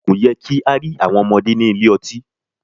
Kò yẹ kí á rí àwọn ọmọdé ní ilé ọtí.